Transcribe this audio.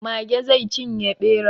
Mage zai cinye ɓera.